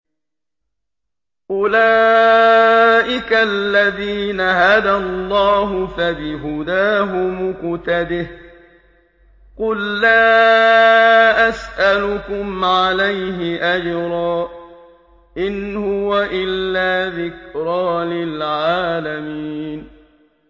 أُولَٰئِكَ الَّذِينَ هَدَى اللَّهُ ۖ فَبِهُدَاهُمُ اقْتَدِهْ ۗ قُل لَّا أَسْأَلُكُمْ عَلَيْهِ أَجْرًا ۖ إِنْ هُوَ إِلَّا ذِكْرَىٰ لِلْعَالَمِينَ